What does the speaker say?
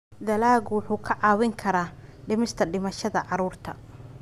Dalaggu wuxuu kaa caawin karaa dhimista dhimashada carruurta.